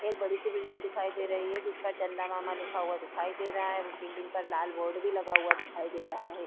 एक बड़ी सी बिल्डिंग दिखाई दे रही है जिसपर चंदा मामा लिखा हुआ दिखाई दे रहा है उस बिल्डिंग पर लाल बोर्ड भी लगा हुआ दिखाई दे रहा है।